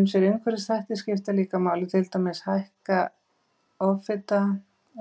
Ýmsir umhverfisþættir skipta líka máli, til dæmis hækka offita,